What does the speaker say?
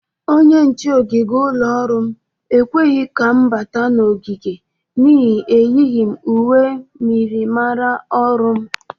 Onye nche ogige ụlọ ọrụ m ekweghi ka m bata n'ogige n'ihi eyighi m uwe myịrịmara ọrụ m.